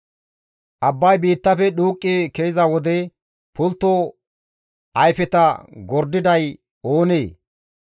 «Abbay biittafe dhuuqqi ke7iza wode pultto ayfeta gordiday oonee?